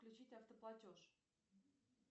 включить автоплатеж